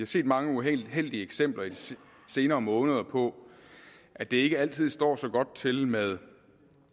set mange uheldige eksempler i de senere måneder på at det ikke altid står så godt til med